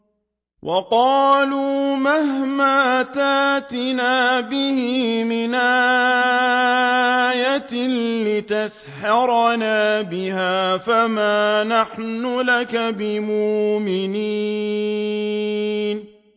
وَقَالُوا مَهْمَا تَأْتِنَا بِهِ مِنْ آيَةٍ لِّتَسْحَرَنَا بِهَا فَمَا نَحْنُ لَكَ بِمُؤْمِنِينَ